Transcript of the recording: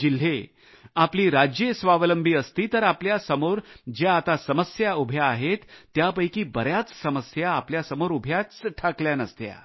जिल्हे आपली राज्ये स्वावलंबी असती तर आपल्या समोर ज्या आता समस्या उभ्या आहेत त्यापैकी बऱ्याच समस्या आपल्या समोर उभ्याच ठाकल्या नसत्या